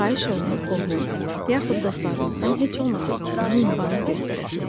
Xahiş olunur qohum, yaxud dostlarınızdan heç olmasa ikisinin ünvanını göstərəsiniz.